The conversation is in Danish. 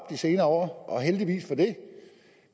de senere år og heldigvis for det